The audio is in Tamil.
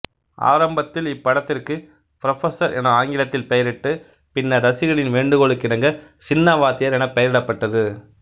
ஆரம்பத்தில் இப்படத்திற்கு புரபசர் என ஆங்கிலத்தில் பெயரிட்டு பின்னர் ரசிகர்களின் வேண்டுகோளுக்கிணங்க சின்ன வாத்தியார் எனப் பெயரிடப்பட்டது